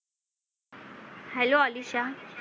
hello Alisha